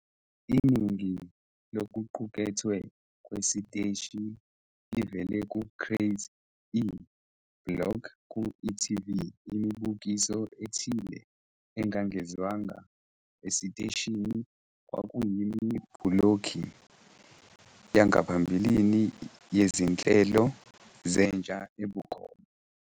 Iningi lokuqukethwe kwesiteshi livela ku- Craz-e block ku-e.tv. Imibukiso ethile engangezwanga esiteshini kwakuyimibhulokhi yangaphambilini yezinhlelo zentsha ebukhoma.